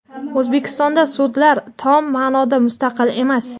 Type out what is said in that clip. O‘zbekistonda sudlar tom ma’noda mustaqil emas.